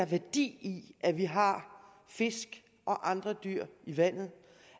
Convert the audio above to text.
værdi i at vi har fisk og andre dyr i vandet